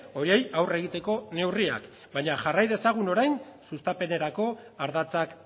horiei aurre egiteko neurriak ere baina jarrai dezagun orain sustapenerako ardatzak